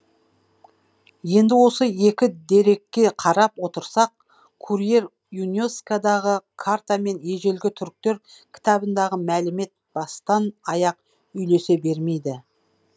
енді осы екі дерекке қарап отырсақ курьер юнескодағы карта мен ежелгі түріктер кітабындағы мәлімет бастан аяқ үйлесе бермейді